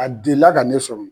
A delila ka ne sɔrɔ